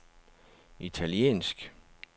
italiensk